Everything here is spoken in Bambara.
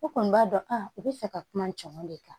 I kɔni b'a dɔn a u bɛ fɛ ka kuma cɛman de kan